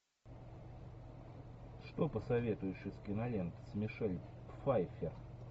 что посоветуешь из кинолент с мишель пфайффер